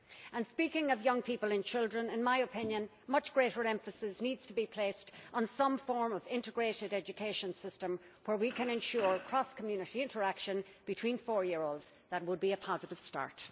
And speaking of young people and children, in my opinion much greater emphasis needs to be placed on some form of integrated education system where we can ensure cross community interaction between four year olds that would be a positive start.